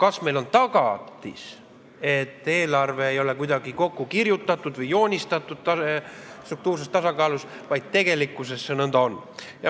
Kas meil on tagatis, et eelarve ei ole kuidagi vaid kokku kirjutatud või paberil joonistatud struktuurses tasakaalus, vaid see on ka tegelikult nõnda?